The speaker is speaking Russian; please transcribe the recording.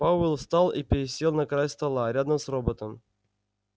пауэлл встал и пересел на край стола рядом с роботом